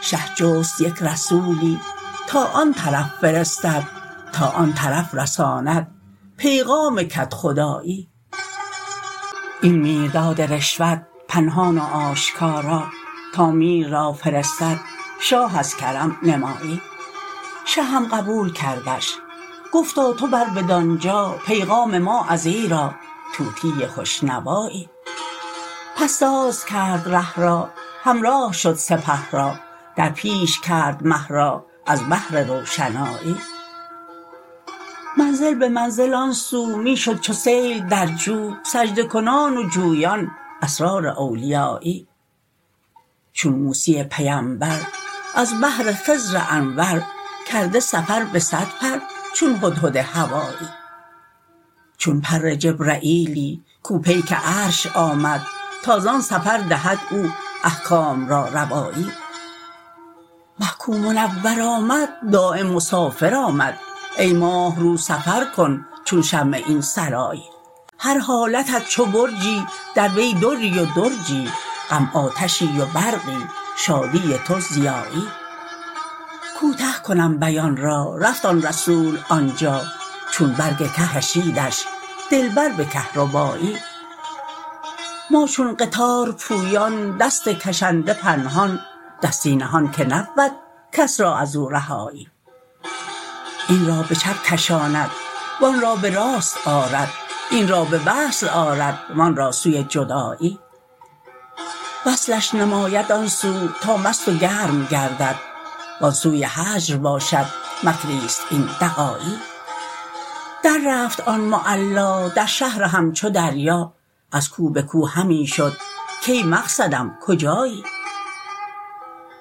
شه جست یک رسولی تا آن طرف فرستد تا آن طرف رساند پیغام کدخدایی این میرداد رشوت پنهان و آشکارا تا میر را فرستد شاه از کرم نمایی شه هم قبول کردش گفتا تو بر بدان جا پیغام ما ازیرا طوطی خوش نوایی پس ساز کرد ره را همراه شد سپه را در پیش کرد مه را از بهر روشنایی منزل به منزل آن سو می شد چو سیل در جو سجده کنان و جویان اسرار اولیایی چون موسی پیمبر از بهر خضر انور کرده سفر به صد پر چون هدهد هوایی چون پر جبرییلی کو پیک عرش آمد تا زان سفر دهد او احکام را روایی مه کو منور آمد دایم مسافر آمد ای ماه رو سفر کن چون شمع این سرایی هر حالتت چو برجی در وی دری و درجی غم آتشی و برقی شادی تو ضیایی کوته کنم بیان را رفت آن رسول آن جا چون برگ که کشیدش دلبر به کهربایی ما چون قطار پویان دست کشنده پنهان دستی نهان که نبود کس را از او رهایی این را به چپ کشاند و آن را به راست آرد این را به وصل آرد و آن را سوی جدایی وصلش نماید آن سو تا مست و گرم گردد و آن سوی هجر باشد مکری است این دغایی دررفت آن معلا در شهر همچو دریا از کو به کو همی شد کای مقصدم کجایی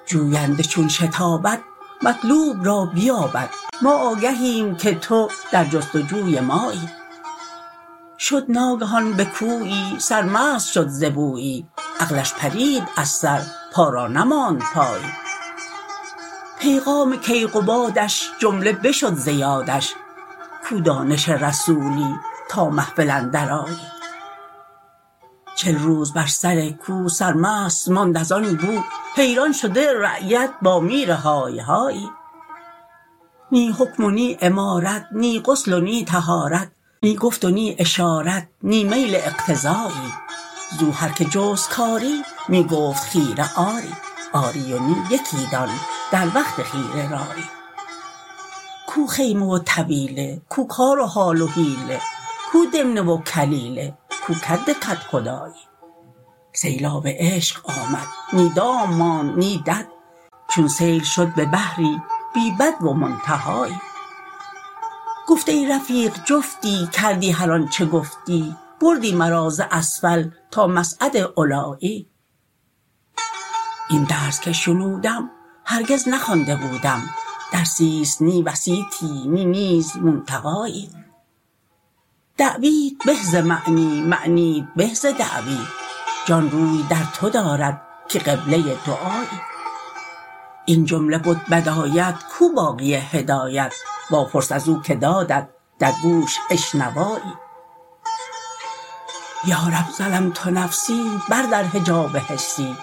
جوینده چون شتابد مطلوب را بیابد ما آگهیم که تو در جست و جوی مایی شد ناگهان به کویی سرمست شد ز بویی عقلش پرید از سر پا را نماند پایی پیغام کیقبادش جمله بشد ز یادش کو دانش رسولی تا محفل اندرآیی چل روز بر سر کو سرمست ماند از آن بو حیران شده رعیت با میرهای هایی نی حکم و نی امارت نی غسل و نی طهارت نی گفت و نی اشارت نی میل اغتذایی زو هر کی جست کاری می گفت خیره آری آری و نی یکی دان در وقت خیره رایی کو خیمه و طویله کو کار و حال و حیله کو دمنه و کلیله کو کد کدخدایی سیلاب عشق آمد نی دام ماند نی دد چون سیل شد به بحری بی بدو و منتهایی گفت ای رفیق جفتی کردی هر آنچ گفتی بردی مرا از اسفل تا مصعد علایی این درس که شنودم هرگز نخوانده بودم درسی است نی وسیطی نی نیز منتقایی دعویت به ز معنی معنیت به ز دعوی جان روی در تو دارد که قبله دعایی این جمله بد بدایت کو باقی حکایت واپرس از او که دادت در گوش اشنوایی یا رب ظلمت نفسی بردر حجاب حسی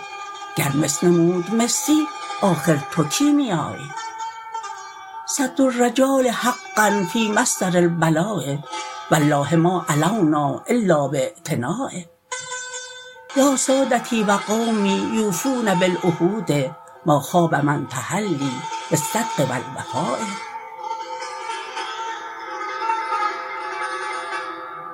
گر مس نمود مسی آخر تو کیمیایی صدر الرجال حقا فی مصدر البلا والله ما علونا الا باعتنا یا سادتی و قومی یوفون بالعهود ما خاب من تحلی بالصدق و الوفا